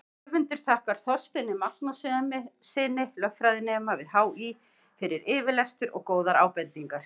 Höfundur þakkar Þorsteini Magnússyni, lögfræðinema við HÍ, fyrir yfirlestur og góðar ábendingar.